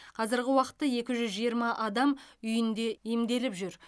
қазырғы уақытта екі жүз жиырма адам үйінде емделіп жүр